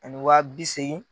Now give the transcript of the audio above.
Ani wa bi seegin.